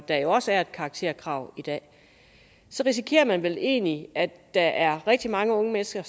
der jo også er et karakterkrav i dag så risikerer man vel egentlig at der er rigtig mange unge mennesker